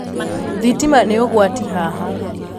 Thitima nī ūgwati haha